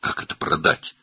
"Necə sataq bunu?